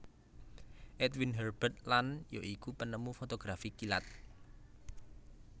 Edwin Herbert Land ya iku penemu fotografi kilat